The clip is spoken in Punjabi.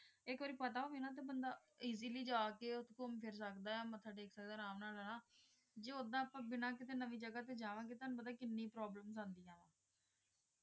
ਆਇਕ ਵਾਰੀ ਪਤਾ ਹੋਵੀ ਨਾ ਬੰਦਾ ਏਆਸਿਲ੍ਯ ਜਾ ਕੀ ਘੁਮ ਫਿਰ ਸਕਦਾ ਟੀ ਵਡਾ ਅਪ੍ਮਨਾ ਨਵੀ ਜਗ੍ਹਾ ਟੀ ਜਵਾਨ ਗੀ ਤੁਵਾਨੂੰ ਪਤਾ ਕਿਨੇਯਾਂ problems ਅਨ੍ਦੇਯਾਂ